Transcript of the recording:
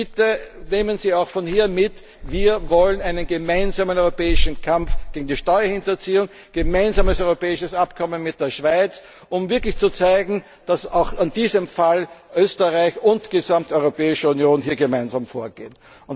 sein. Bitte nehmen Sie auch von hier mit Wir wollen einen gemeinsamen europäischen Kampf gegen die Steuerhinterziehung, ein gemeinsames europäisches Abkommen mit der Schweiz, um wirklich zu zeigen, dass auch in diesem Fall Österreich und die gesamte Europäische Union hier gemeinsam